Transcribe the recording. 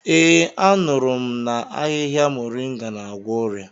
Ee, anuru m na ahịhịa muringa n'agwọ ọrịa.